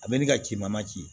A bɛ ni ka ci ma ci